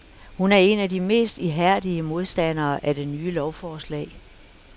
Hun er en af de mest ihærdige modstandere af det nye lovsforslag.